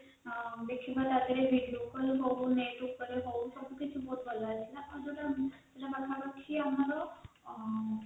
ଦେଖିବା ତଦେହେରେ video call ସବୁ net ଉପରେ ବହୁତ ସବୁ ବହୁତ ଭଲ ଥିଲା ଆଉ ଯୋଉଟା ପାଖାପାଖି ଆମର ଆଂ